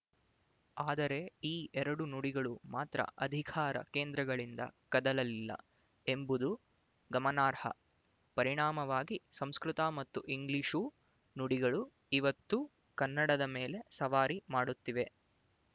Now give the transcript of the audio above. ಆದರೆ ಈ ಎರಡೂ ನುಡಿಗಳು ಮಾತ್ರ ಅಧಿಕಾರ ಕೇಂದ್ರಗಳಿಂದ ಕದಲಲಿಲ್ಲ ಎಂಬುದು ಗಮನಾರ್ಹ ಪರಿಣಾಮವಾಗಿ ಸಂಸ್ಕೃತ ಮತ್ತು ಇಂಗ್ಲಿಶು ನುಡಿಗಳು ಇವತ್ತು ಕನ್ನಡದ ಮೇಲೆ ಸವಾರಿ ಮಾಡುತ್ತಿವೆ